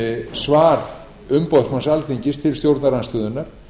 svar umboðsmanns alþingis til stjórnarandstöðunnar